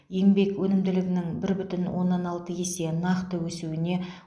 еңбек өнімділігінің бір бүтін оннан алты есе нақты өсуіне